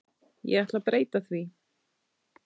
Ég ætla breyta því.